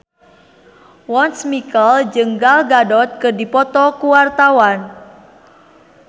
Once Mekel jeung Gal Gadot keur dipoto ku wartawan